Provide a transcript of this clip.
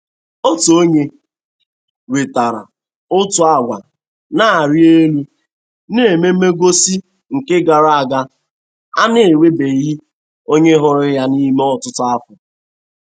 Otu onye wetara otu agwa na-arị elu n'ememengosị nke gara aga a.na-enwebeghị onye hụrụ yan'ime ọtụtụ afọ.